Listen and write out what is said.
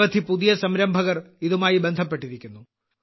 നിരവധി പുതിയ സംരംഭകർ ഇതുമായി ബന്ധപ്പെട്ടിരിക്കുന്നു